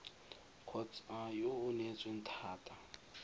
kgotsa yo o neetsweng thata